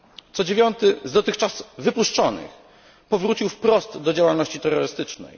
Co dziewiąty z dotychczas wypuszczonych powrócił wprost do działalności terrorystycznej.